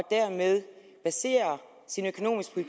dermed baserer sin økonomiske